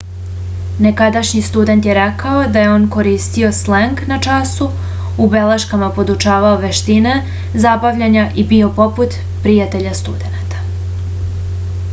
nekadašnji student je rekao da je on koristio sleng na času u beleškama podučavao veštine zabavljanja i bio poput prijatelja studenata